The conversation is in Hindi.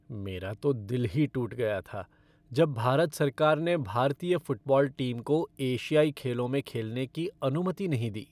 मेरा तो दिल ही टूट गया था जब भारत सरकार ने भारतीय फ़ुटबॉल टीम को एशियाई खेलों में खेलने की अनुमति नहीं दी।